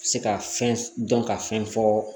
Se ka fɛn dɔn ka fɛn fɔ